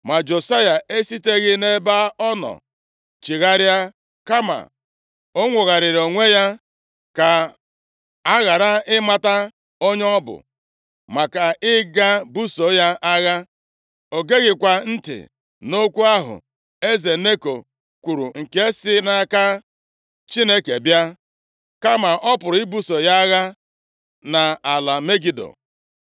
Ma Josaya esiteghị nʼebe ọ nọ chigharịa, kama o nwogharịrị onwe ya, ka a ghara ịmata onye ọ bụ, maka ịga buso ya agha. O geghịkwa ntị na okwu ahụ eze Neko kwuru nke si nʼaka Chineke bịa, kama ọ pụrụ ibuso ya agha nʼala Megido.